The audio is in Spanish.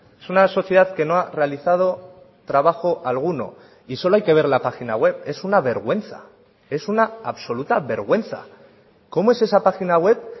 es una sociedad que no ha realizado trabajo alguno y solo hay que ver la página web es una vergüenza es una absoluta vergüenza cómo es esa página web